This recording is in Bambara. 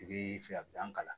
I bi fɛ ka kalan